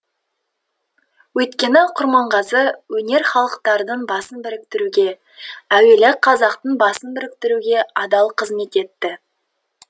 өйткені құрманғазы өнері халықтардың басын біріктіруге әуелі қазақтың басын біріктіруге адал кызмет етті